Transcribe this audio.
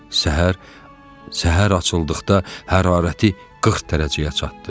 Səhər açıldıqda hərarəti 40 dərəcəyə çatdı.